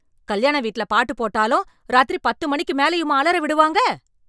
கல்யாண வீட்ல பாட்டு போட்டாலும் ராத்திரி பத்து மணிக்கு மேலயுமா அலற விடுவாங்க.